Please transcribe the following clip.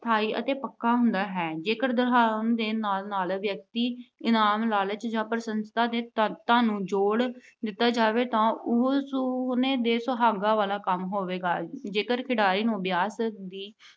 ਸਥਾਈ ਅਤੇ ਪੱਕਾ ਹੁੰਦਾ ਹੈ। ਜੇਕਰ ਦੁਹਰਾਉਣ ਦੇ ਨਾਲ ਨਾਲ ਵਿਅਕਤੀ, ਇਨਾਮ, ਲਾਲਚ ਜਾਂ ਪ੍ਰਸ਼ੰਸ਼ਾ ਦੇ ਨੂੰ ਜੋੜ ਦਿੱਤਾ ਜਾਵੇ ਤਾਂ ਉਹ ਸੋਨੇ ਤੇ ਸੁਹਾਗੇ ਵਾਲਾ ਕੰਮ ਹੋਵੇਗਾ। ਜੇਕਰ ਖਿਡਾਰੀ ਨੂੰ ਅਭਿਆਸ ਦੀ